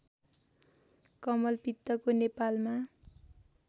कमलपित्तको नेपालमा